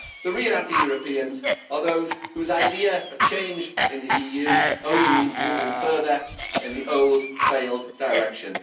The real anti Europeans are those whose idea of change in the EU only means moving further in the old, failed direction.